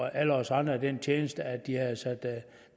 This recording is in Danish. alle os andre den tjeneste